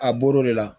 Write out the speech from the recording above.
A bɔr'o de la